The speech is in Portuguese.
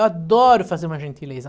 Eu adoro fazer uma gentileza.